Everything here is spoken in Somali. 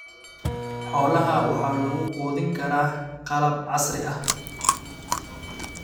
Xoolaha waxa lagu quudin karaa qalab casri ah.